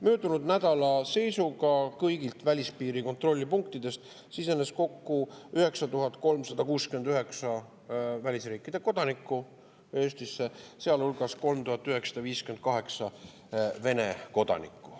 Möödunud nädala seisuga kõigist välispiiri kontrollpunktidest sisenes Eestisse kokku 9369 välisriikide kodanikku, sealhulgas 3958 Vene kodanikku.